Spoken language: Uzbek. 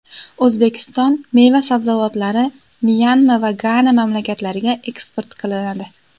O‘zbekiston meva-sabzavotlari Myanma va Gana mamlakatlariga eksport qilinadi.